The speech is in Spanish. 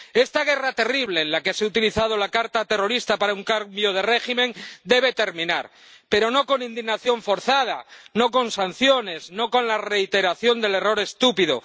Esta guerra terrible en la que se ha utilizado la carta terrorista para un cambio de régimen debe terminar, pero no con indignación forzada, no con sanciones, no con la reiteración del error estúpido.